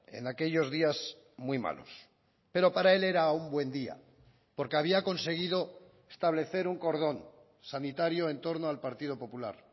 en aquellos días muy malos pero para él era un buen día porque había conseguido establecer un cordón sanitario en torno al partido popular